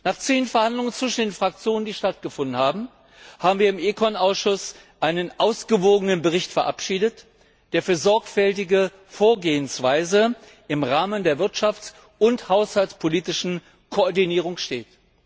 Nach zähen Verhandlungen, die in den Fraktionen stattgefunden haben, haben wir im Ausschuss ECON einen ausgewogenen Bericht verabschiedet, der für eine sorgfältige Vorgehensweise im Rahmen der wirtschafts und haushaltspolitischen Koordinierung steht.